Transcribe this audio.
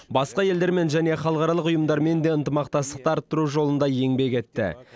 басқа елдермен және халықаралық ұйымдармен де ынтымақтастықты арттыру жолында еңбек етті